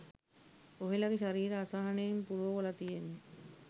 ඔහෙලගෙ ශරීර අසහනයෙන් පුරෝවල තියෙන්නේ.